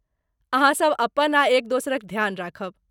अहाँसभ अपन आ एक दोसरक ध्यान राखब।